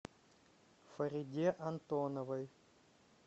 фариде антоновой